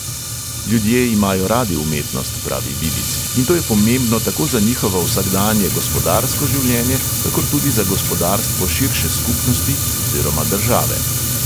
Ljudje imajo radi umetnost, pravi vidic, in to je pomembno tako za njihovo vsakdanje gospodarsko življenje, kakor tudi za gospodarstvo širše skupnosti oziroma države.